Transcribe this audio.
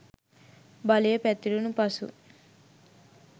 බලය පැතිරුණු පසු